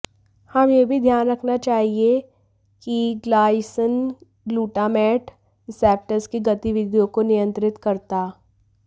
हम यह भी ध्यान रखना चाहिए कि ग्लाइसिन ग्लूटामेट रिसेप्टर्स की गतिविधियों को नियंत्रित करता